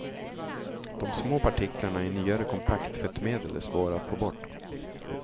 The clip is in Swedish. De små partiklarna i nyare kompakttvättmedel är svåra att få bort.